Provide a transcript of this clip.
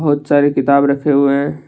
बहुत सारी किताब रखे हुए हैं।